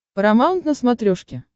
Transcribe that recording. парамаунт на смотрешке